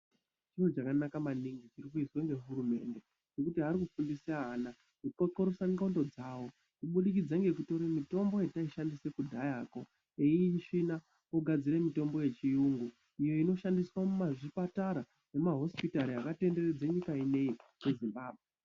Chiro chakanaka maningi chinoizwa ngehurumende, ngekuti ari kufundiswe ana kuxoxorosa ndxondo dzavo, kubudikidza ngekutore mitombo yataishandisa kudhayako, eiisvina ogadzire mitombo yechiyungu, iyo inoshandiswa mumazvipatara, nemumahosipitari akatenderedze nyika ineyi yeZimbabwe.